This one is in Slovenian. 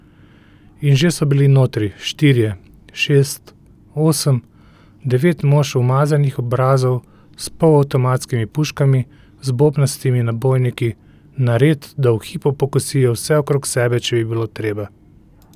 In že so bili notri, štirje, šest, osem, devet mož umazanih obrazov s polavtomatskimi puškami z bobnastimi nabojniki, nared, da v hipu pokosijo vse okrog sebe, če bi bilo treba.